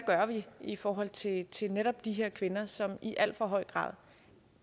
i forhold til til netop de her kvinder som i al for høj grad